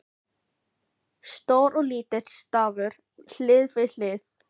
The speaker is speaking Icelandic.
Stór og lítill stafur hlið við hlið.